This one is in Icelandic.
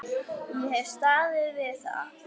Ég hef staðið við það.